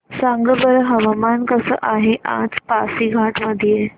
सांगा बरं हवामान कसे आहे आज पासीघाट मध्ये